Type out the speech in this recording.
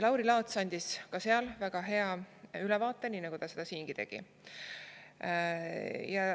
Lauri Laats andis seal väga hea ülevaate, nii nagu ta seda siingi tegi.